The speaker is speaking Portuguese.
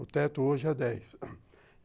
O teto hoje é dez.